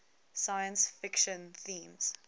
science fiction themes